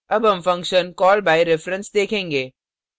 अब हम function call by reference देखेंगे